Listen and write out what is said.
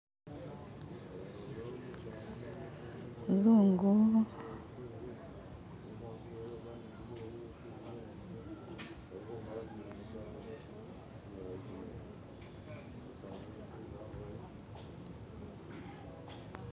umuzungu